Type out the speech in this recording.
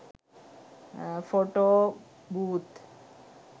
photo booth